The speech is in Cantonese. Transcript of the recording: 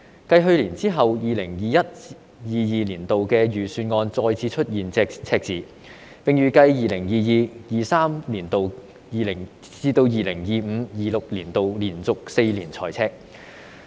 繼去年之後 ，2021-2022 年度的財政預算案再次出現赤字，並預計由 2022-2023 年度直至 2025-2026 年度，連續4年財赤。